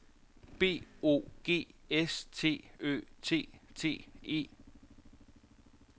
B O G S T Ø T T E